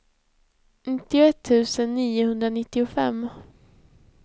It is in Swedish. nittioett tusen niohundranittiofem